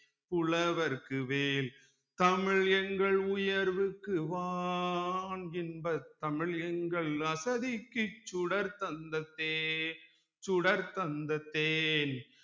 புலவர்க்கு வேல் தமிழ் எங்கள் உயர்வுக்கு வான் இன்பத் தமிழ் எங்கள் அசதிக்கு சுடர் தந்த தேன் சுடர் தந்த தேன்